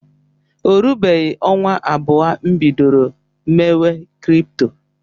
O rubeghị ọnwa abụọ m bidoro mewe krypto.